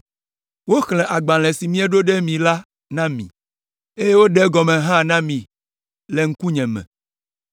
Woxlẽ agbalẽ si mieɖo ɖe mí la na mí, eye woɖe egɔme hã na mí le ŋkunye me.